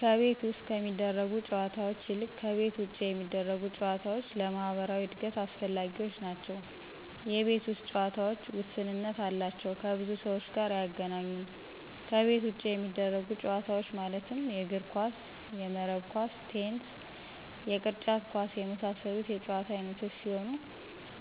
ከቤት ውስጥ ከሚደረጉ ጨዎታዎች ይልቅ ከቤት ውጭ የሚደረጉ ጨዎታዎች ለማህበራዊ እድገት አስፈላጊዎች ናቸው የቤት ውስጥ ጨዎታዎች ውስንነት አላቸው ከብዙ ሰዎች ጋር አያገናኙም ከቤት ውጭ የሚደረጉት ጨዎታዎች ማለትም የእግር ኳስ :የመረብ ኳስ :ቴንስ የቅርጫት ኳስ የመሳሰሉት የጨዎታ አይነቶች ሲሆኑ